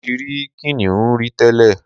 Mo ti ri kìnìún rí tẹ́lẹ̀